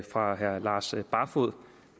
fra herre lars barfoed